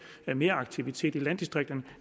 meraktivitet i landdistrikterne